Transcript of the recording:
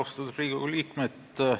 Austatud Riigikogu liikmed!